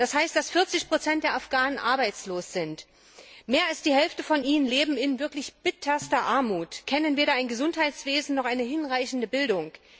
Es heißt, dass 40 der Afghanen arbeitslos sind, mehr als die Hälfte von ihnen lebt in wirklich bitterster Armut, kennt weder ein Gesundheitswesen noch eine hinreichende Bildung.